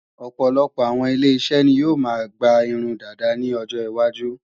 Ọ̀pọ̀lọpọ̀ àwọn ile-iṣẹ́ ni yóò máa gba irun dàda ní ọjọ iwájú